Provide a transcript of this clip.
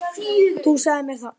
Þú sagðir mér það.